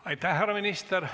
Aitäh, härra minister!